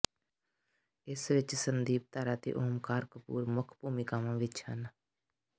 ਇਸ ਵਿੱਚ ਸੰਦੀਪ ਧਰ ਅਤੇ ਓਮਕਾਰ ਕਪੂਰ ਮੁੱਖ ਭੂਮਿਕਾਵਾਂ ਵਿੱਚ ਹਨ